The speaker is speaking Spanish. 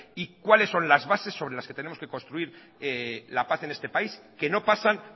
y cuáles son las base sobre las que tenemos que construir la paz en este país que no pasan